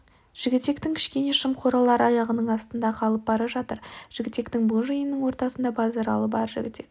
жігітектің кішкене шым қоралары аяғының астында қалып бара жатыр жігітектің бұл жиынының ортасында базаралы бар жігітек